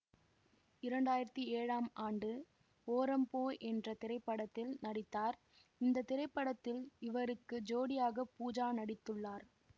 இரண்டு ஆயிரத்தி ஏழாம் ஆண்டு ஓரம் போ என்ற திரைப்படத்தில் நடித்தார் இந்த திரைபடத்தில் இவருக்கு ஜோடியாக பூஜா நடித்துள்ளார்